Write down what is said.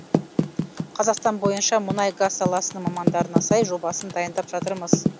қазақстан бойынша мұнай газ саласының мамандарына сай жобасын дайындап жатырмыз